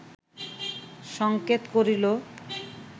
সংকেত করিল